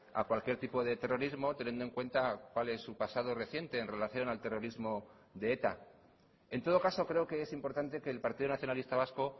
a cualquier tipo de terrorismo teniendo en cuenta cuál es su pasado reciente en relación al terrorismo de eta en todo caso creo que es importante que el partido nacionalista vasco